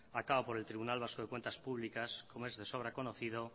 a cabo por el tribunal vasco de cuentas públicas como es de sobra conocido